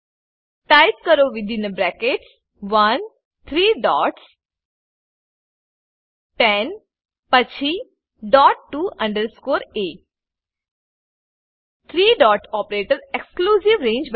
type કરો within brackets 1 three dots 10 પછી dot to underscore a three dot operator exclusive range